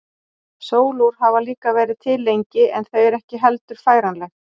Sólúr hafa líka verið til lengi en þau eru heldur ekki færanleg.